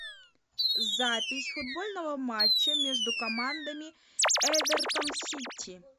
запись футбольного матча между командами эвертон сити